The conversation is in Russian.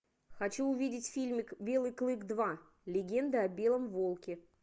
хочу увидеть фильмик белый клык два легенда о белом волке